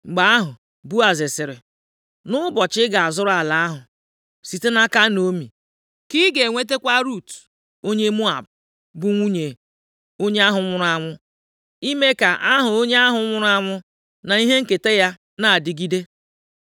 Mgbe ahụ, Boaz sịrị, “Nʼụbọchị ị ga-azụrụ ala ahụ site nʼaka Naomi ka ị ga-enwetakwa Rut onye Moab bụ nwunye onye ahụ nwụrụ anwụ, ime ka aha onye ahụ nwụrụ anwụ na ihe nketa ya na-adịgide.”